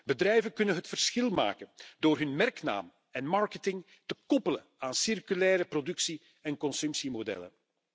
Bedrijven kunnen het verschil maken door hun merknaam en marketing te koppelen aan circulaire productie en consumptiemodellen.